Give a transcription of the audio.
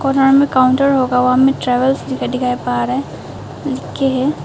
Counter होगा वहां पर ट्रेवल्स लिख के है।